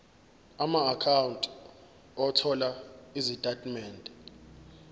amaakhawunti othola izitatimende